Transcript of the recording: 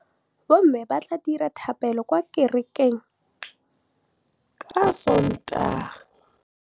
Bommê ba tla dira dithapêlô kwa kerekeng ka Sontaga.